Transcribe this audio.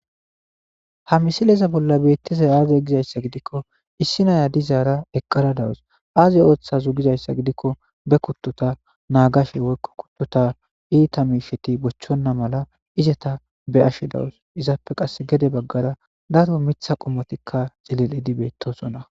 Ha misileza bolla beettizay aaze gizayssa gidikko issi naya dizaara eqqara dawus aaze ooththazu gizayssa gidikko be kuttuta naagashe woykko kuttuta iita miisheti bochchonna mala izata be ashe dawus izappe qas gede baggara daro mitha qomotikka xilillidi beettoosonna.